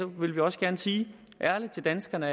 vil vi også gerne sige ærligt til danskerne